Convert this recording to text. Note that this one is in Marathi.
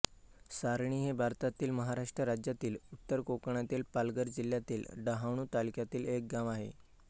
सारणी हे भारतातील महाराष्ट्र राज्यातील उत्तर कोकणातील पालघर जिल्ह्यातील डहाणू तालुक्यातील एक गाव आहे